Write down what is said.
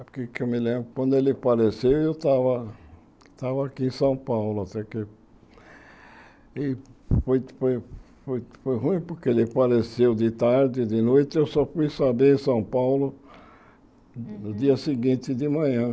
Porque o que eu me lembro, quando ele apareceu, eu estava estava aqui em São Paulo, até que... E foi foi foi foi ruim porque ele falaceu de tarde, de noite, eu só fui saber em São Paulo no dia seguinte de manhã.